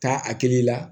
Taa hakili la